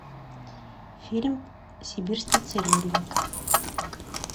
фильм сибирский цирюльник